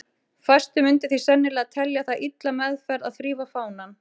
Fæstir myndu því sennilega telja það illa meðferð að þrífa fánann.